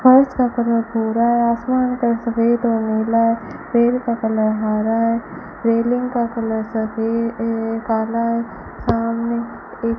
फर्श का कलर भूरा है आसमान का सफेद व नीला है पेड़ का कलर हरा है रेलिंग का कलर सफे अ काला है सामने एक --